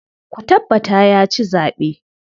Ku tabbata ya ci zaɓe.